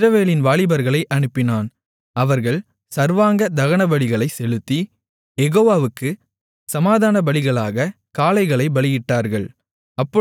இஸ்ரவேலின் வாலிபர்களை அனுப்பினான் அவர்கள் சர்வாங்கதகனபலிகளைச் செலுத்தி யெகோவாவுக்குச் சமாதானபலிகளாகக் காளைகளைப் பலியிட்டார்கள்